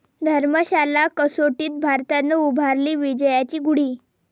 धर्मशाला कसोटीत भारतानं उभारली विजयाची गुढी